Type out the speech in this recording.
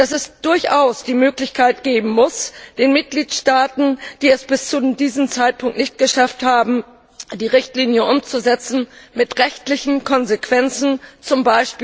Es muss durchaus die Möglichkeit geben, den Mitgliedstaaten, die es bis zu diesem Zeitpunkt nicht geschafft haben, die Richtlinie umzusetzen, mit rechtlichen Konsequenzen, z.